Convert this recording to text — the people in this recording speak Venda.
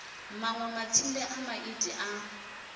manwe matsinde a maiti a